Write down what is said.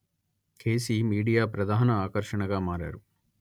కెసీ media ప్రధాన ఆకర్షణగా మారారు